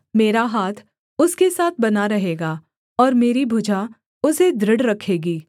मेरा हाथ उसके साथ बना रहेगा और मेरी भुजा उसे दृढ़ रखेगी